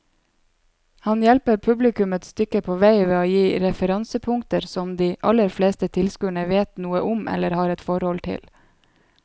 Han hjelper publikum et stykke på vei ved å gi referansepunkter som de aller fleste tilskuere vet noe om eller har et forhold til.